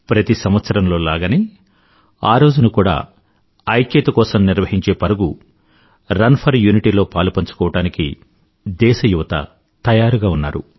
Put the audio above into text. ప్రతి సంవత్సరంలో లాగనే ఆ రోజున కూడా ఐక్యత కోసం నిర్వహించే పరుగు రన్ ఫోర్ యూనిటీ లో పాలుపంచుకోవడానికి దేశ యువత తయారుగా ఉన్నారు